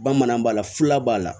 Bamanan b'a la fula b'a la